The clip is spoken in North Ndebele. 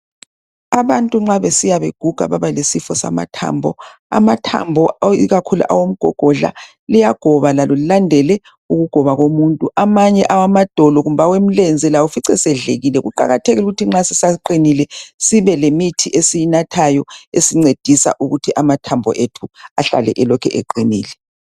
Abantu nxa besiya beguga babalesifo samathambo. Amathambo, ikakhulu awomgogodla. Liyagoba lalo, lilandele ukugoba komuntu. Amanye awamadolo, kumbe awemlenze lawo, ufice esedlekile. Kuqakathekile ukuthi nxa sisaqinile, kube lemithi esiyinathayo. Esincedisa ukuthi amathambo ethu lawo ahlale elokhu eqinile.